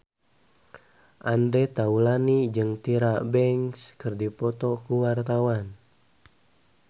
Andre Taulany jeung Tyra Banks keur dipoto ku wartawan